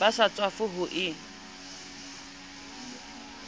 ba sa tswafe ho e